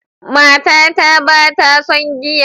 Matata ba ta son giya.